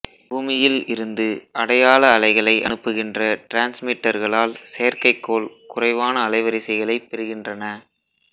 பூமியில் இருந்து அடையாள அலைகளை அனுப்புகின்ற டிரான்ஸ்மிட்டர்களால் செயற்கைக்கோள் குறைவான அலைவரிசைகளை பெறுகின்றன